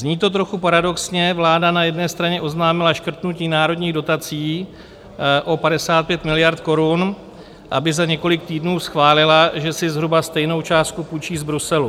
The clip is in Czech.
Zní to trochu paradoxně, vláda na jedné straně oznámila škrtnutí národních dotací o 55 miliard korun, aby za několik týdnů schválila, že si zhruba stejnou částku půjčí z Bruselu.